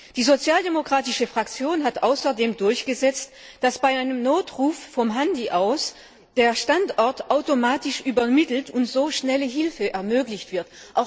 Die Sozialdemokratische Fraktion hat außerdem durchgesetzt, dass bei einem Notruf vom Handy aus der Standort automatisch übermittelt und so schnelle Hilfe ermöglicht wird.